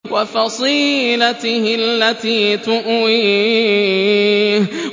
وَفَصِيلَتِهِ الَّتِي تُؤْوِيهِ